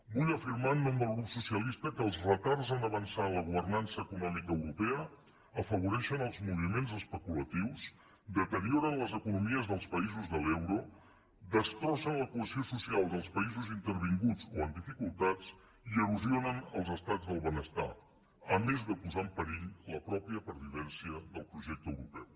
vull afirmar en nom del grup socialista que els retards a avançar en la governança econòmica europea afavoreixen els moviments especulatius deterioren les economies dels països de l’euro destrossen la cohesió social dels països intervinguts o en dificultats i erosionen els estats del benestar a més de posar en perill la mateixa pervivència del projecte europeu